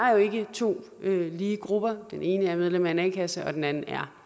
to lige grupper den ene er medlem af en a kasse og den anden er